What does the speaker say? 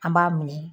An b'a minɛ